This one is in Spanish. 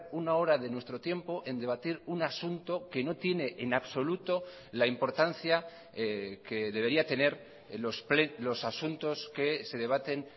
una hora de nuestro tiempo en debatir un asunto que no tiene en absoluto la importancia que debería tener los asuntos que se debaten